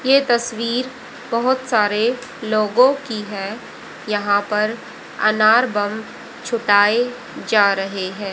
यह तस्वीर बहुत सारे लोगों की है यहां पर अनार बम छुटाए जा रहे हैं।